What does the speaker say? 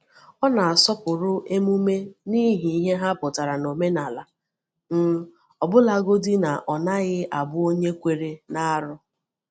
Ọ na-asọpụrụ emume n’ihi ihe ha pụtara n’omenala, um ọbụlagodị na ọ naghị abụ onye kwèré na arụ.